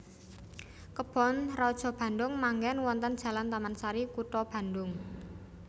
Kebon Raja Bandung manggen wonten Jalan Tamansari Kutha Bandung